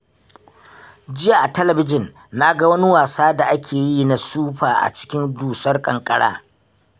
Jiya a talabijin na ga wani wasa da ake yi na sufa a cikin dusar ƙanƙara